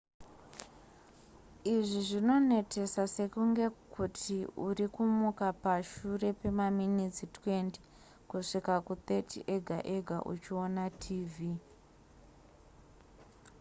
izvi zvinonetesa sekunge kuti uri kumuka pashure pemaminitsi 20 kusvika ku30 ega ega uchiona tv